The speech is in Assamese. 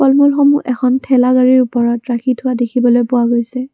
ফল মূলসমূহ এখন ঠেলা গাড়ীৰ ওপৰত ৰাখি থোৱা দেখিবলৈ পোৱা গৈছে।